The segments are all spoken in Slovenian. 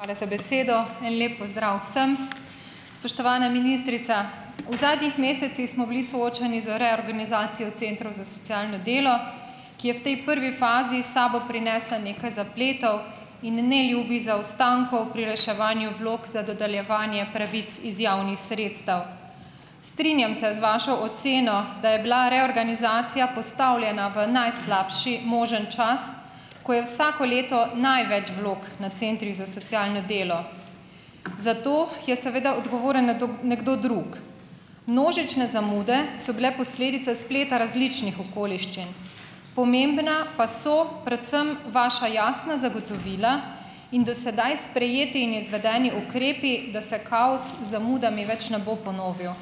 Hvala za besedo. En lep pozdrav vsem. Spoštovana ministrica. V zadnjih mesecih smo bili soočeni z reorganizacijo centrov za socialno delo, ki je v tej prvi fazi s sabo prinesla nekaj zapletov in neljubih zaostankov pri reševanju vlog za dodeljevanje pravic iz javnih sredstev. Strinjam se z vašo oceno, da je bila reorganizacija postavljena v najslabši možni čas, ko je vsako leto največ vlog na centrih za socialno delo. Za to je seveda odgovoren nekdo nekdo drug. Množične zamude so bile posledica spleta različnih okoliščin. Pomembna pa so predvsem vaša jasna zagotovila in do sedaj sprejeti in izvedeni ukrepi, da se kaos z zamudami več ne bo ponovil.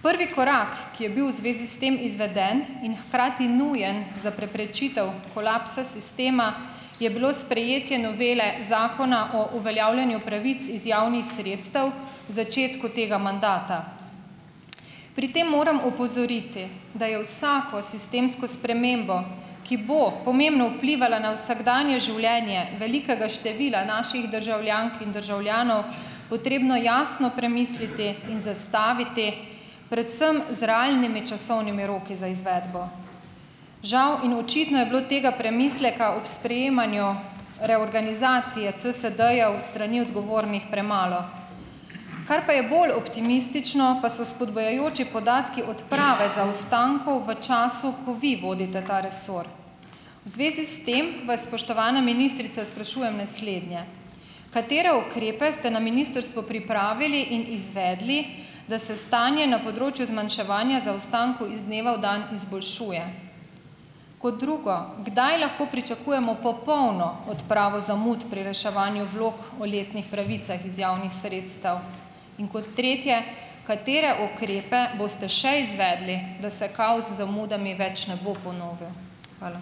Prvi korak, ki je bil v zvezi s tem izveden in hkrati nujen za preprečitev kolapsa sistema, je bilo sprejetje novele zakona o uveljavljanju pravic iz javnih sredstev v začetku tega mandata. Pri tem moram opozoriti, da je vsako sistemsko spremembo, ki bo pomembno vplivala na vsakdanje življenje velikega števila naših državljank in državljanov, potrebno jasno premisliti in zastaviti predvsem z realnimi časovnimi roki za izvedbo. Žal in očitno je bilo tega premisleka ob sprejemanju reorganizacije CSD-jev s strani odgovornih premalo. Kar pa je bolj optimistično, pa so spodbujajoči podatki odprave zaostankov v času, ko vi vodite ta resor. V zvezi s tem vas, spoštovana ministrica, sprašujem naslednje: Katere ukrepe ste na ministrstvu pripravili in izvedli, da se stanje na področju zmanjševanja zaostankov iz dneva v dan izboljšuje? Kot drugo, kdaj lahko pričakujemo popolno odpravo zamud pri reševanju vlog o letnih pravicah iz javnih sredstev? In kot tretje, katere ukrepe boste še izvedli, da se kaos z zamudami več ne bo ponovil? Hvala.